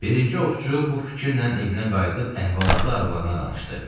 Birinci ovçu bu fikirlə evinə qayıdıb əhvalatı arvadına danışdı.